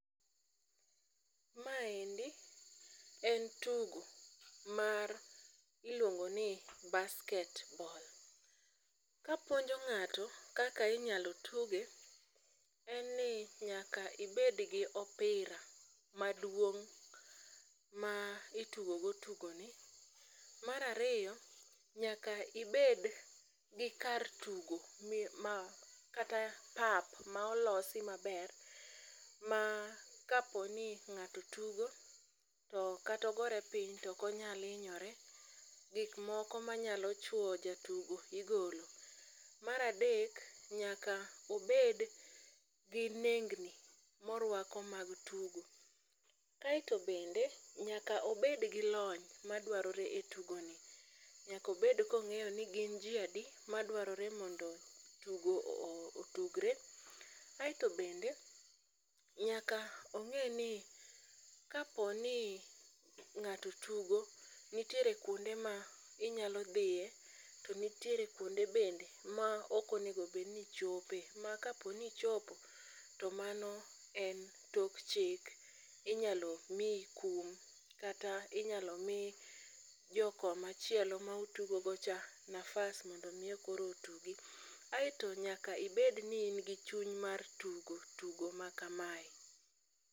Maendi en tugo mar iluongo ni basket ball. Kapuonjo ng'ato kaka inyalo tuge, en ni nyaka ibed gi opira maduong' ma itugo go tugo ni. Marariyo, nyaka ibed gi kar tugo ma kata pap ma olosi maber ma kaponi ng'ato tugo to katogore piny tokonyal inyore. Gik moko manyalo chwo jatugo igolo. Maradek nyaka obed gi nengni morwako mag tugo. Aeto bende nyaka obed gi lony ma dwarore e tugo ni, nyakobed kong'eyo ni gin ji adi ma dwarore mondo tugo otugre. Aeto bende nyaka ong'e ni kaponi ng'ato tugo, itiere kuonde ma inyalo dhiye, to nitiere kuonde bende ma okonego bedni ichope. Ma kaponi ichopo, to mano en tok chik, inyalo miyi kum. Kata inyalo mi jo koma chielo ma utugo go cha nafas mondo miyo koro otugi. Aeto nyaka ibed ni in gi chuny mar tugo tugo ma kamae.